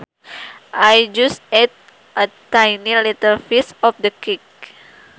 I just ate a tiny little piece of the cake